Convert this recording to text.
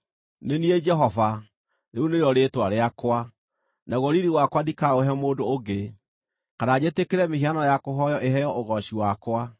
“Nĩ niĩ Jehova; rĩu nĩrĩo rĩĩtwa rĩakwa! Naguo riiri wakwa ndikaũhe mũndũ ũngĩ, kana njĩtĩkĩre mĩhianano ya kũhooywo ĩheo ũgooci wakwa.